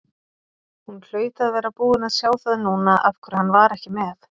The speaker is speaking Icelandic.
Hún hlaut að vera búin að sjá það núna af hverju hann var ekki með.